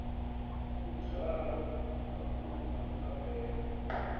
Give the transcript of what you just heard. u dzwalwa makumba a mbebo